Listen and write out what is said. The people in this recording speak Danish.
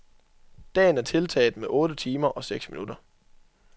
Dagen er tiltaget med otte timer og seks minutter.